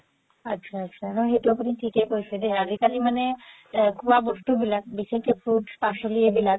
আতচা আতচা সেইটো আপুনি থিকে কৈছে দেই আজিকালি মানে খুৱা বস্তু বিলাক বিশেষকে fruits পাচলি এইবিলাক